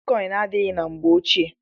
Bitkọin adịghị na mgbe ochie.